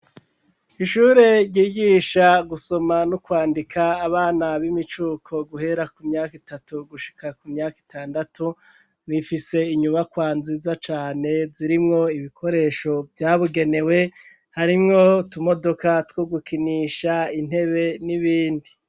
Ishure ryigisha gusoma no kwandika abana b'imicuko guhera ku myaka itatu gushika ku myaka itandatu rifise inyubakwa nziza cane zirimwo ibikoresho vyabigenewe harimwo utumodoka two gukinisha intebe n'ibindi.